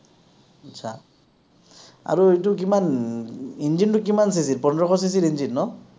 আচ্ছা, আৰু এইটো কিমান, engine টো কিমান CC ৰ, পোন্ধৰশ CC ৰ engine ন?